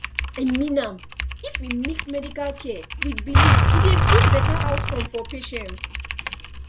i mean am if we mix medical care with belief e dey bring better outcome for patients